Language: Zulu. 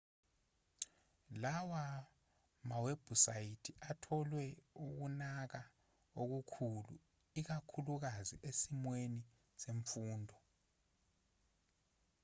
lawa mawebhusayithi atholwe ukunaka okukhulu ikakhulukazi esimweni semfundo